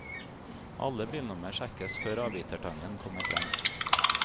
Alle bilnummer sjekkes før avbitertangen kommer frem.